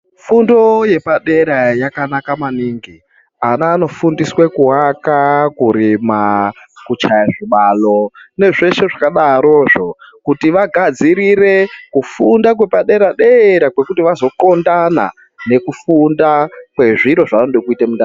Fundo yepadera yakana maningi ana anofundiswe kuaka kurima kuchaya zvibalo nezveshe zvakadaro zvo kuti vagadzirire kufunda kwe padera dera kwekuti vazo xondana kufunda kwezviro zvavanoda kuzita mundaramo.